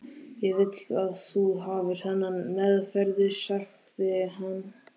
Ég vil að þú hafir þennan meðferðis, sagði hann.